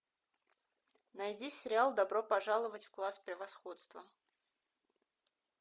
найди сериал добро пожаловать в класс превосходства